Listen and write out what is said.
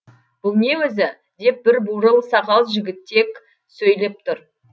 бұл не өзі деп бір бурыл сақал жігітек сөйлеп тұр